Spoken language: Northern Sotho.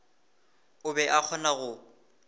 o be a kgona go